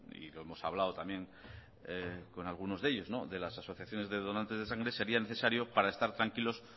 y lo hemos hablado también con algunos de ellos de las asociaciones de donantes de sangre sería necesario para estar tranquilos